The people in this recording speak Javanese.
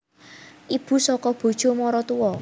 Ibu saka bojo maratua